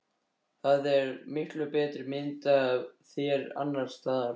Það er til miklu betri mynd af þér annars staðar.